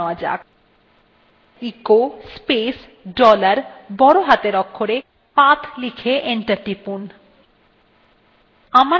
echo space dollar বড় হাতের অক্ষরে path লিখুন এবং enter টিপুন